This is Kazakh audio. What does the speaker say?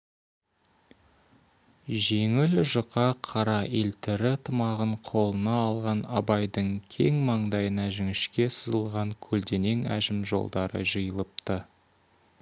жеңіл жұқа қара елтірі тымағын қолына алған абайдың кең маңдайына жіңішке сызылған көлденең әжім жолдары жиылыпты